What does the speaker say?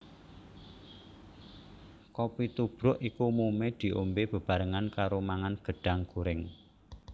Kopi tubruk iki umumé diombé bebarengan karo mangan gedhang gorèng